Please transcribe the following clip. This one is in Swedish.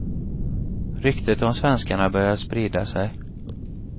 Ryktet om svenskarna började sprida sig.